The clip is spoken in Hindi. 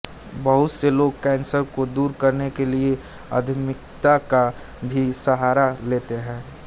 बहुत से लोग कैंसर को दूर करने के लिए आध्यात्मिकता का भी सहारा लेते हैं